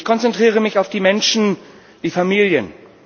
Ich konzentriere mich auf die Menschen, die Familien.